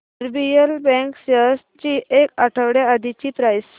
RBL bank shares ची एक आठवड्या आधीची प्राइस